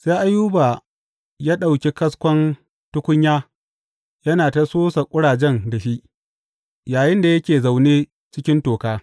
Sai Ayuba ya ɗauki kaskon tukunya yana ta sosa ƙurajen da shi, yayinda yake zaune cikin toka.